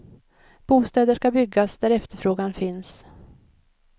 Bostäder ska byggas där efterfrågan finns.